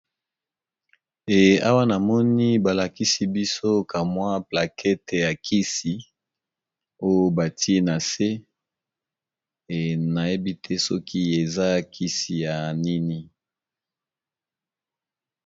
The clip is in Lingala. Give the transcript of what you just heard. E awa na moni balakisi biso kamwa plakete ya kisi oyo batie na se nayebi te soki eza kisi ya nini.